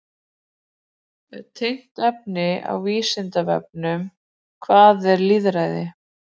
Tengt efni á Vísindavefnum: Hvað er lýðræði?